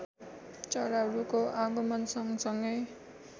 चराहरूको आगमनसँगसँगै